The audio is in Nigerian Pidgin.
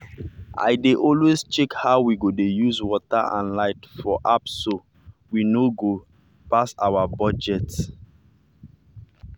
i dey always check how we dey use water and light for appso we no go pass our budget.